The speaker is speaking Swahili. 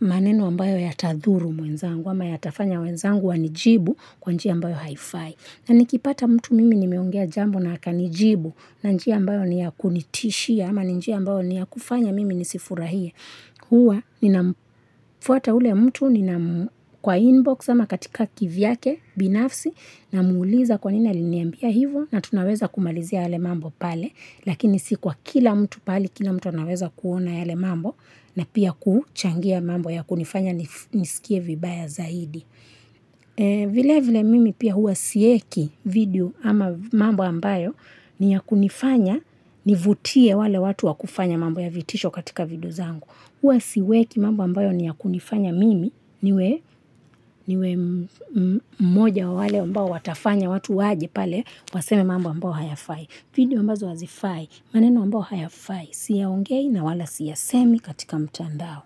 maneno ambayo yatadhuru mwenzangu ama yatafanya wenzangu wanijibu kwa njia ambayo haifai. Na nikipata mtu mimi nimeongea jambo na akanijibu na njia ambayo ni yakunitishia ama njia ambayo ni yakufanya mimi nisifurahia. Huwa ninafuata ule mtu ninam kwa inbox ama katika kivyake binafsi namuuliza kwa nini aliniambia hivo na tunaweza kumalizia yale mambo pale. Lakini si kwa kila mtu pahali kila mtu anaweza kuona yale mambo na pia kuchangia mambo yakunifanya nisikie vibaya zaidi. Vile vile mimi pia huwa sieki video ama mambo ambayo ni yakunifanya nivutie wale watu wakufanya mambo ya vitisho katika video zangu. Huwa siweki mambo ambayo ni ya kunifanya mimi niwe mmoja wa wale ambao watafanya watu waje pale Waseme mambo ambayo hayafai video ambazo hazifai maneno ambayo hayafai, siyaongei na wala siyasemi katika mtandao.